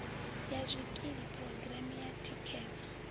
ya zwikili phurogireme ya thikhedzo